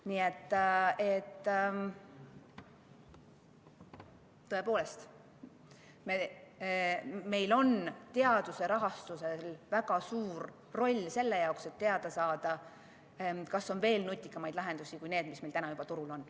Nii et tõepoolest, meil on teaduse rahastusel väga suur roll selles, et teada saada, kas on veel nutikamaid lahendusi kui need, mis meil täna juba turul on.